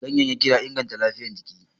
gayayyaki na inganta lafiyar jiki